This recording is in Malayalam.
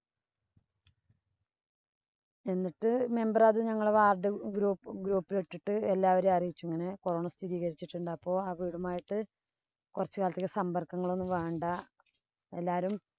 എന്നിട്ട് member ഞങ്ങടെ ward group group ഇല്‍ ഇട്ടിട്ട്‌ എല്ലാവരെയും അറിയിച്ചു. അങ്ങനെ corona സ്ഥിതീകരിച്ചിട്ടുണ്ട്. അപ്പൊ ആ വീടുമായിട്ട് കൊറച്ചു കാലത്തിലേക്ക് സമ്പര്‍ക്കങ്ങളൊന്നും വേണ്ട.